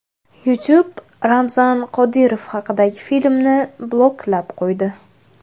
YouTube Ramzan Qodirov haqidagi filmni bloklab qo‘ydi.